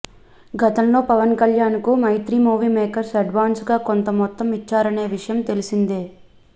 గతంలో పవన్ కల్యాణ్కు Mythri movie makers అడ్వాన్సుగా కొంత మొత్తం ఇచ్చారనే విషయం తెలిసిందే